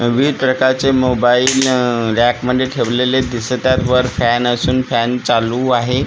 विविध प्रकारचे mobile rack मध्ये ठेवलेले दिसत आहेत वर फॅन असून फॅन चालू आहे--